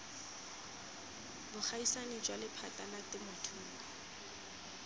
bogaisani jwa lephata la temothuo